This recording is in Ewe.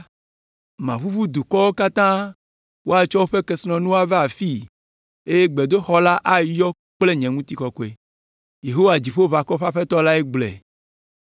Maʋuʋu dukɔwo katã, woatsɔ woƒe kesinɔnuwo ava afii eye gbedoxɔ la ayɔ kple ŋutikɔkɔe.’ Yehowa, Dziƒoʋakɔwo ƒe Aƒetɔ lae gblɔe.